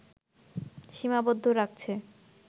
সীমাবদ্ধ রাখছে